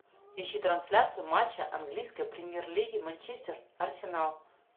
ищи трансляцию матча английской премьер лиги манчестер арсенал